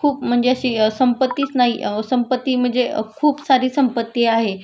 खूप म्हणजे अशी संपत्तीच नाही संपत्ती म्हणजे खूप सारी संपत्ती आहे